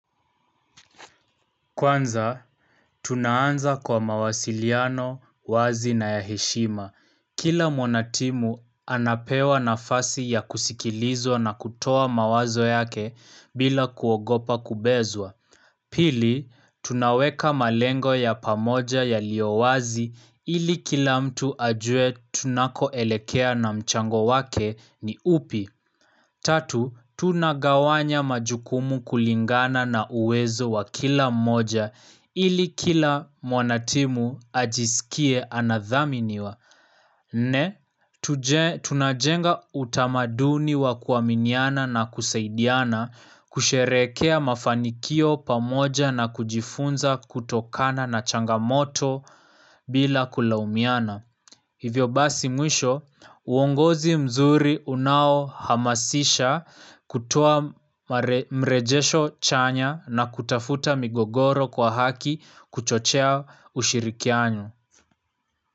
Kwanza, tunaanza kwa mawasiliano, wazi na ya heshima. Kila mwanatimu, anapewa nafasi ya kusikilizwa na kutoa mawazo yake bila kuogopa kubezwa. Pili, tunaweka malengo ya pamoja yaliyowazi ili kila mtu ajue tunako elekea na mchango wake ni upi. Tatu, tunagawanya majukumu kulingana na uwezo wa kila mmoja ili kila mwanatimu ajisikie anadhaminiwa. Nne, tunajenga utamaduni wa kuaminiana na kusaidiana kusherekea mafanikio pamoja na kujifunza kutokana na changamoto bila kulaumiana. Hivyo basi mwisho, uongozi mzuri unao hamasisha kutoa mrejesho chanya na kutafuta migogoro kwa haki kuchochea ushirikianyo.